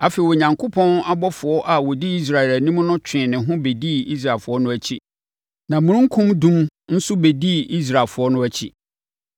Afei, Onyankopɔn ɔbɔfoɔ a ɔdi Israelfoɔ anim no twee ne ho bɛdii Israelfoɔ no akyi. Na omununkum dum nso bɛdii Israelfoɔ no akyi.